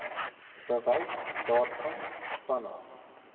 bewys daarvan vanaf